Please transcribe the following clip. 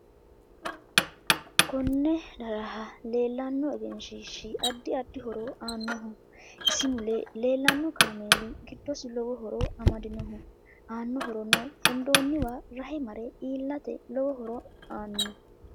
Kone darha leelanno egeshiishi addi addi horo aanoho isi mule leelanno kaameeli giddosi lowo horo amadinoho aano horonno hedooniwa rahe mare iilate lowo horo aanno